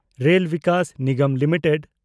rail Vikas Nigam limited